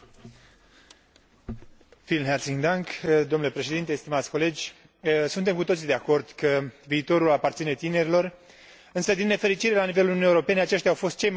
Suntem cu toții de acord că viitorul aparține tinerilor, însă, din nefericire, la nivelul Uniunii Europene, aceștia au fost cei mai afectați de criza economică și problemele structurale ale pieței muncii.